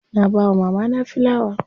Na bawa mamana filawa.